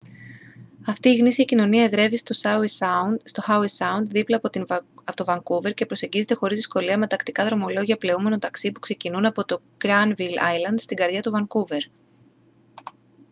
αυτή η γνήσια κοινωνία εδρεύει στο howe sound δίπλα από το vancouver και προσεγγίζεται χωρίς δυσκολία με τακτικά δρομολόγια πλεούμενων ταξί που ξεκινούν από το granville island στην καρδιά του vancouver